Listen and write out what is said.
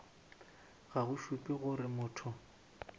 ga go šupe gore motho